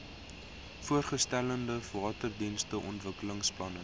voorgestelde waterdienste ontwikkelingsplan